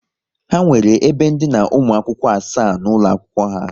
Ha nwere ebe ndina ụmụ akwụkwọ asaa n'ụlọ akwụkwọ ha